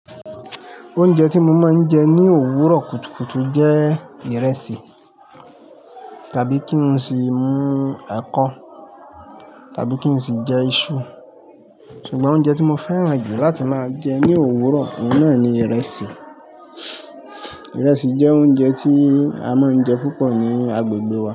Oúnjẹ tí mo máa ń jẹ ní òwúrọ̀ kùtùkùtù jẹ́ ìrẹsì tàbí kí n sì mú ẹ̀kọ tàbí kí n sì jẹ iṣu. Ṣùgbọ́n oúnjẹ tí mo fẹ́ràn jù láti máa jẹ ní òwúrọ̀, oun náà ni ìrẹsì. Ìrẹsì jẹ́ oúnjẹ tí a máa ń jẹ púpọ̀ ní agbègbè wa.